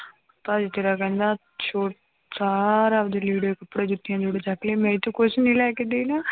ਭਾਜੀ ਤੇਰਾ ਕਹਿੰਦਾ ਸੋ ਸਾਰਾ ਆਪਦੇ ਲੀੜੇ ਕੱਪੜੇ ਜੁੱਤੀਆਂ ਜੋੜੇ ਚੁੱਕ ਲਿਆ, ਮੈਂ ਇੱਥੋਂ ਕੁਛ ਨੀ ਲੈ ਕੇ ਦੇਣਾ।